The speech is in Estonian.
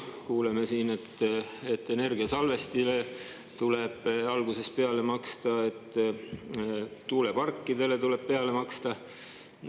Kuuleme siin, et energiasalvestile tuleb alguses peale maksta, et tuuleparkidele tuleb peale maksta.